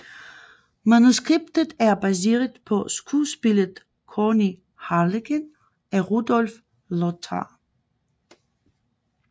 Manuskriptet er baseret på skuespillet König Harlekin af Rudolph Lothar